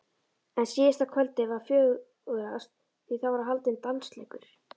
En síðasta kvöldið var fjörugast því þá var haldinn dansleikur.